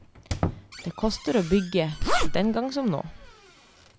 Det kostet å bygge, den gang som nå.